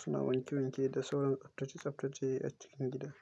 suna wanke wanke da sauran tsaftace tsaftace a cikin gida.